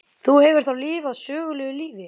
Þú hefur þá lifað sögulegu lífi?